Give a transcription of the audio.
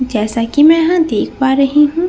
जैसा कि मैं यहाँ देख पा रही हूँ।